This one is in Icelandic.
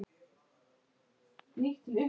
Hvíldu í ró og sælu.